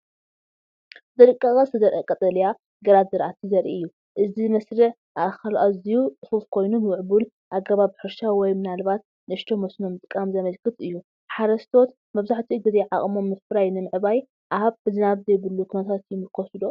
ብጥንቃቐ ዝተዘርአ ቀጠልያ **ግራት ዝራእቲ** ዘርኢ እዩ። እቲ መስርዕ ኣእካል ኣዝዩ ጽፉፍ ኮይኑ፡ ምዕቡል ኣገባብ ሕርሻ ወይ ምናልባት ንእሽቶ መስኖ ምጥቃም ዘመልክት እዩ። ሓረስቶት መብዛሕትኡ ግዜ ዓቕሞም ምፍራይ ንምዕባይ ኣብ ዝናብ ዘይብሉ ኩነታት ይምርኮሱ ዶ?